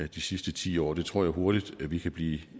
de sidste ti år det tror jeg hurtigt vi kan blive